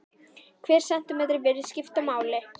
Hver sentímetri virðist skipta miklu máli.